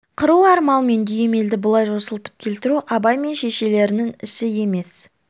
қыруар мал мен дүйім елді бұлай жосылтып келтіру абай мен шешелерінің ісі емес